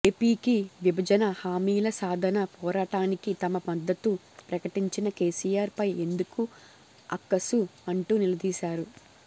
ఏపీకి విభజన హామీల సాధన పోరాటానికి తమ మద్దతు ప్రకటించిన కేసీఆర్ పై ఎందుకు అక్కసు అంటూ నిలదీశారు